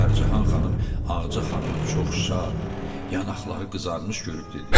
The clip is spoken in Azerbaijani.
Pərcəhan xanım Ağca xanımı çox şad, yanaqları qızarmış görüb dedi: